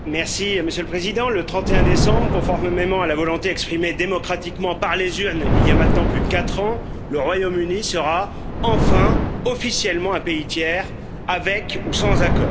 Monsieur le Président, le 31 décembre, conformément à la volonté exprimée démocratiquement par les urnes il y a maintenant plus de quatre ans, le Royaume Uni sera, enfin, officiellement un pays tiers, avec ou sans accord.